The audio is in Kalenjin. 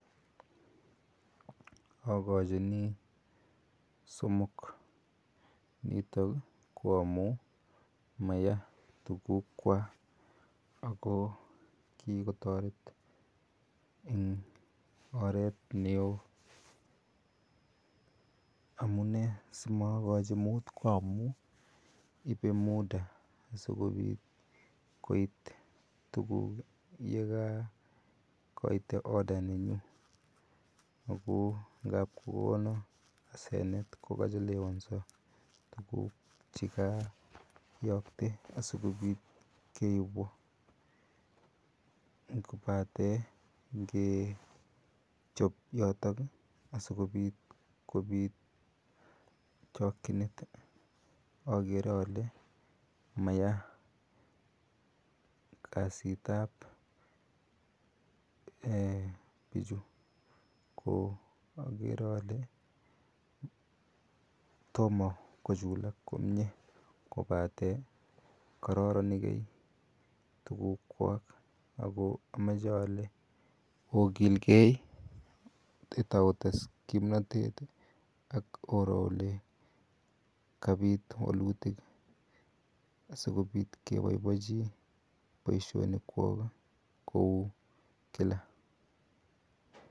Akachi ni somok. Nitok ko amu maya tuguukwak ako kikotaret eng oret ne oo. Amunee si makachu muut ko amu ipe muda n koi asikopit koit tuguuk ye ka kaite order nenyu. Ako ngap kokona asenet ko kachelewansa tiguuk che kayakte asikopit keipwa kopate ngechop yotok asikopit koit chakchinet akere ale maya kasiit ap pichu. Ko akere ale toma kochulak komye kopate kararan igai tuguukwok ako amache ale ogilgei, taotes kimnatet ak oro ole kapiit walutik asi kopit kepaipachi poishonikwok kou kila.